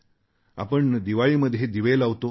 आपण दिवाळीमध्ये दिवे लावतो